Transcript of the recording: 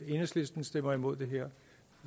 enhedslisten stemmer imod det her